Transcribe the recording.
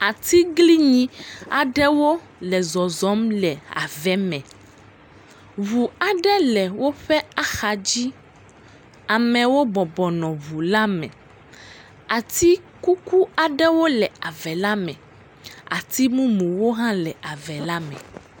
Atiglinyi aɖewo le zɔzɔm le ave me. Ɖu aɖe woƒe axa dzi. Amewo bɔbɔnɔ ŋu la me. Atikuku aɖewo le ave la me. Atimumuwo hã le ave la me.